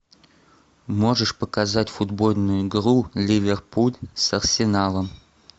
можешь показать футбольную игру ливерпуль с арсеналом